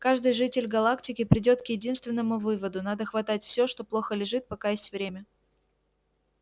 каждый житель галактики придёт к единственному выводу надо хватать всё что плохо лежит пока есть время